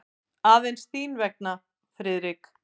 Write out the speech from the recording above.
Aðeins þín vegna, Friðrik.